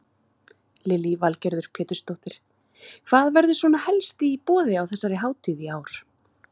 Lillý Valgerður Pétursdóttir: Hvað verður svona helst í boði á þessari hátíð í ár?